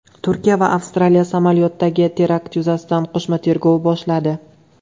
Turkiya va Avstraliya samolyotdagi terakt yuzasidan qo‘shma tergov boshladi.